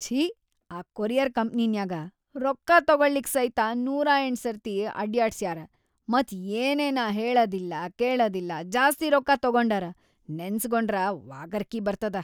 ಛೀ, ಆ ಕೊರಿಯರ್‌ ಕಂಪ್ನಿನ್ಯಾಗ ರೊಕ್ಕಾ ತೊಗೊಳಿಕ್‌ ಸೈತ ನೂರಾಯಂಟ್‌ ಸರ್ತಿ ಅಡ್ಯಾಡಸ್ಯಾರ, ಮತ್‌ ಏನೇನ ಹೇಳದಿಲ್ಲಾ ಕೇಳದಿಲ್ಲಾ ಜಾಸ್ತಿ ರೊಕ್ಕಾ ತೊಗೊಂಡಾರ, ನೆನಸ್ಗೊಂಡ್ರ ವಾಕರಕಿ ಬರ್ತದ.